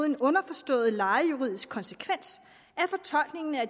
en underforstået lejejuridisk konsekvens af fortolkningen af